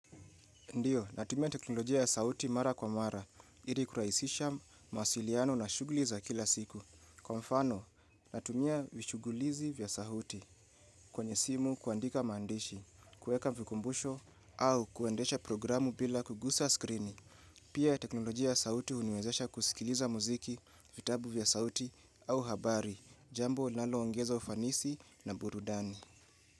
Ndiyo, natumia teknolojia ya sauti mara kwa mara, ili kurahisisha mawasiliano na shughuli za kila siku. Kwa mfano, natumia vishughulizi vya sauti kwenye simu kuandika mandishi, kuweka vikumbusho au kuendesha programu bila kugusa skrini. Pia teknolojia ya sauti huniwezesha kusikiliza muziki, vitabu vya sauti au habari, jambo linaloongeza ufanisi na burudani.